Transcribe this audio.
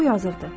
O yazırdı: